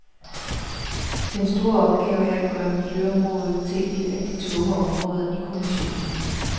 Den store opgave er at gøre miljøområdet til et af de tunge områder i kommissionen.